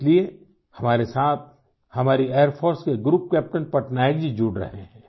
इसलिए हमारे साथ हमारी एयर फोर्स के ग्रुप कैप्टन पटनायक जी जुड़ रहे हैं